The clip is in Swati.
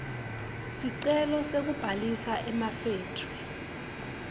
sicelo sekubhalisa emafethri